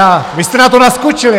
A vy jste na to naskočili.